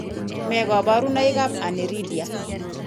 Nee kabarunoikab Aniridia?